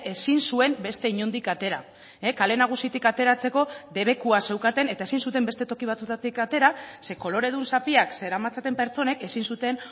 ezin zuen beste inondik atera kale nagusitik ateratzeko debekua zeukaten eta ezin zuten beste toki batzuetatik atera ze koloredun zapiak zeramatzaten pertsonek ezin zuten